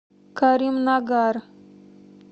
каримнагар